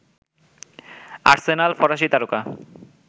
Arsenal ফরাসী তারকা